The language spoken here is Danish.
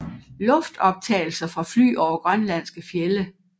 Luftoptagelser fra fly over grønlandske fjelde